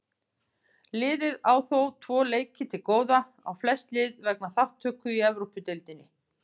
Liðið á þó tvo leiki til góða á flest lið vegna þátttöku í Evrópudeildinni.